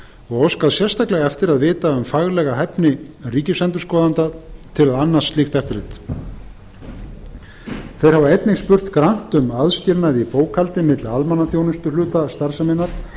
og óskað sérstaklega eftir að vita um faglega hæfni ríkisendurskoðanda til að annast slíkt eftirlit þeir hafa einnig spurt grannt um aðskilnað í bókhaldi milli almenningsþjónustuhluta starfseminnar